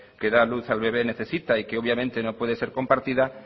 que da luz al bebe necesita y que obviamente no puede ser compartida